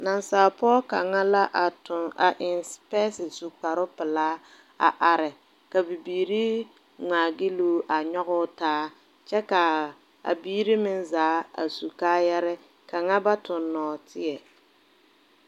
Naasalpoɔ pou kanga la a tung a en sipɛse a su kpare pelaa a arẽ ka bibiiri ngmaa gyiluu a nyuguu taa kye ka a biiri meng zaa a su kaayare ka kanga ba tung nɔɔtei.